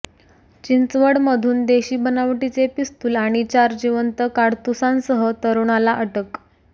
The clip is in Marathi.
चिंचवडमधून देशी बनावटीचे पिस्तूल आणि चार जिवंत काडतूसांसह तरुणाला अटक